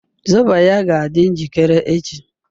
zobo ya ga adi njikere echi